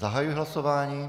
Zahajuji hlasování.